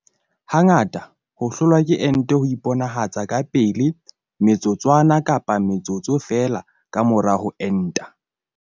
Hangata ho hlolwa ke ente ho iponahatsa ka pele me tsotswana kapa metsotso feela ka mora ho enta.